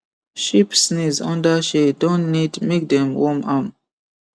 sheep sneeze under shade don need make dem worm am